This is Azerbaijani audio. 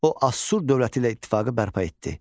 O Asur dövləti ilə ittifaqı bərpa etdi.